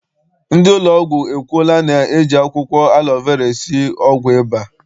Ndị ụlọọgwụ ekwuola na eji akwụkwọ alọ vera esi ọgwụ ụba.